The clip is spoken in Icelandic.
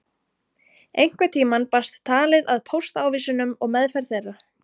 Einhvern tíma barst talið að póstávísunum og meðferð þeirra.